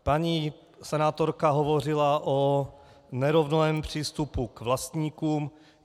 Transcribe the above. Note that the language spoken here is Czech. Paní senátorka hovořila o nerovném přístupu k vlastníkům.